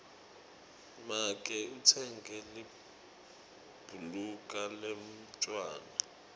make utsenge libhuluka lemntfwana